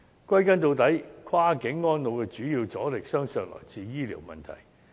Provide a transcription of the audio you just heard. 歸根究底，跨境安老的主要阻力，相信是來自醫療問題。